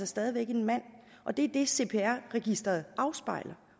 stadig væk en mand og det er det cpr registeret afspejler